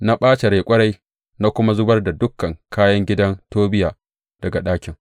Na ɓace rai ƙwarai na kuma zubar da dukan kayan gidan Tobiya daga ɗakin.